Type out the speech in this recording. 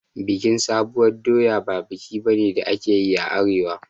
Bikin sabuwar doya ba biki bane da ake a arewa